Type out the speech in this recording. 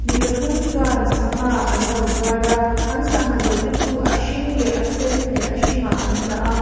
mi pathum chuan sangha an lo zuar a an sangha zawrh te chu a hring leh a sen leh a hringah an dah a --